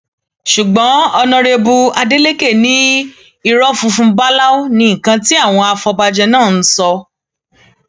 ṣùgbọn ọnàrẹbù ádẹkẹ ní irọ funfun báláú ní nǹkan tí àwọn afọbajẹ náà ń sọ